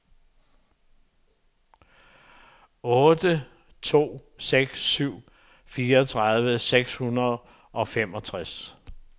otte to seks syv fireogtredive seks hundrede og femogtres